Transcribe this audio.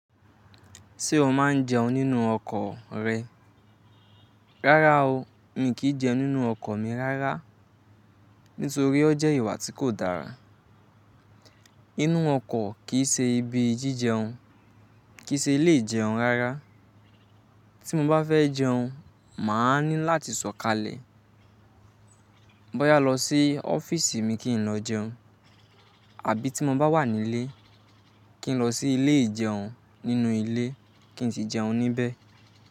Ṣé o máa ń jẹun nínú ọkọ̀ rẹ? Rárá o, mi kì í jẹun nínú ọkọ̀ mi rárá. Nítorí ọ jẹ́ ìwà tí kò dára. Inú ọkọ̀ kì í ṣe ibi jíjẹun, kì í ṣe ilé ìjẹun rárá. Tí mo bá fẹ́ jẹun, màá ní láti sọ̀kalẹ̀. Bá yá lọ sí ọ́fíìsì mi kí n lọ jẹun. Àbí tí mo bá wà nílé, kí n lọ sí ilé ìjẹun nínú ilé kí n sì jẹun níbẹ̀